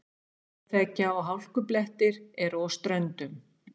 Snjóþekja og hálkublettir eru á Ströndum